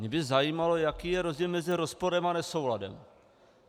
Mě by zajímalo, jaký je rozdíl mezi rozporem a nesouladem.